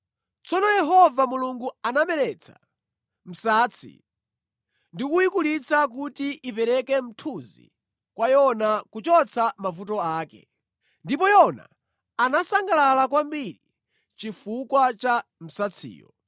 Tsono Yehova Mulungu anameretsa msatsi ndi kuyikulitsa kuti ipereke mthunzi kwa Yona kuchotsa mavuto ake; ndipo Yona anasangalala kwambiri chifukwa cha msatsiyo.